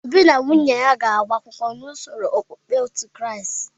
Obi na nwunye ya ga-agba akwụkwọ n'usoro okpukpe otu Kraịst.